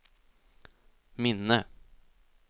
minne